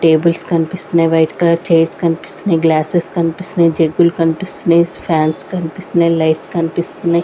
Tables కన్పిస్తున్నయ్ white colour chairs కన్పిస్తున్నయ్ glasses కన్పిస్తున్నయ్ జెగ్గు లు కన్పిస్తున్నయ్ ఫాన్స్ కన్పిస్తున్నయ్ లైట్స్ కన్పిస్తున్నయ్.